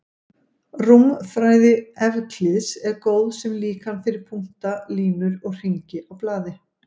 Rúmfræði Evklíðs er góð sem líkan fyrir punkta, línur og hringi á blaði.